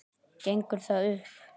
Gengur það upp?